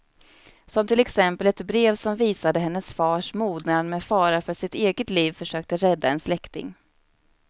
Som till exempel ett brev som visade hennes fars mod när han med fara för sitt eget liv försökte rädda en släkting.